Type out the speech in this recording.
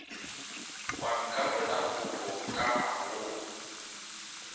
wa nkapola kobo ka maoong